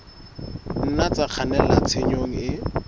nna tsa kgannela tshenyong e